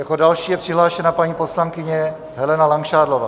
Jako další je přihlášena paní poslankyně Helena Langšádlová.